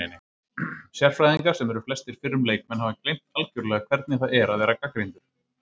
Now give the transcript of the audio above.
Sérfræðingar, sem eru flestir fyrrum leikmenn, hafa gleymt algjörlega hvernig það er að vera gagnrýndur